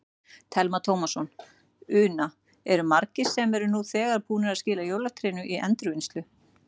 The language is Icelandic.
Telma Tómasson: Una, eru margir sem eru nú þegar búnir að skila jólatrénu í endurvinnslu?